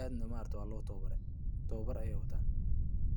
aadna waa lo tawabare tawaabar ayey wataan.